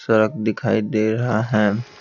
सड़क दिखाई दे रहा है।